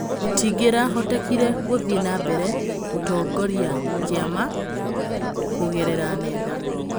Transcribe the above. Gũtingĩ rahotekire gũthiĩ na mbere gũtongiria kĩ ama kũgerera nenda.